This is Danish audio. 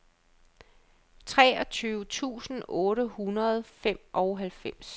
treogtyve tusind otte hundrede og femoghalvtreds